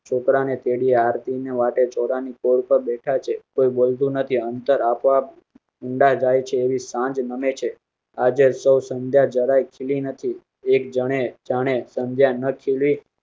છોકરા ને તેડી આરતી ની વાટે ચોરા ની કૉલ કરો બેઠા છે. મુંડા જાય છે એવી સાંજ નમે છે. આજે શો સંધ્યા જરાય ખીલી નથી. એક જણે જાણે સંધ્યા ન ખીલ